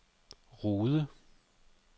Rude